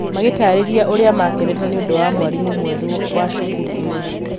magĩtaarĩria ũrĩa makenete nĩ ũndũ wa mwarimu mwerũ wa cukuru ĩyo.